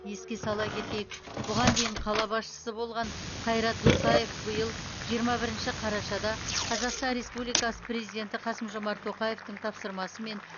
еске сала кетейік бұған дейін қала басшысы болған қайрат досаев биыл жиырма бірінші қарашада қазақстан республикасы президенті қасым жомарт тоқаевтың тапсырмасымен